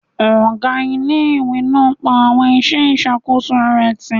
Ọgá ilé-ìwé náà pa àwọn iṣẹ́ ìṣàkóso rẹ̀ tì